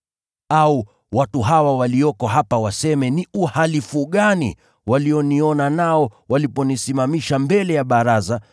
Au, watu hawa walioko hapa waseme ni uhalifu gani walioniona nao waliponisimamisha mbele ya baraza,